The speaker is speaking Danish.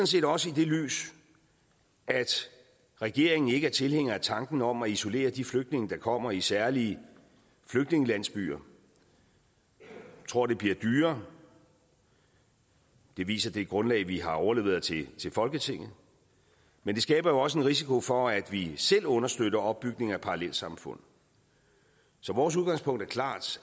set også i det lys at regeringen ikke er tilhænger af tanken om at isolere de flygtninge der kommer i særlige flygtningelandsbyer jeg tror det bliver dyrere det viser det grundlag vi har overleveret til folketinget men det skaber jo også en risiko for at vi selv understøtter opbygningen af parallelsamfund så vores udgangspunkt er klart